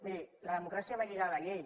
miri la democràcia va lligada a la llei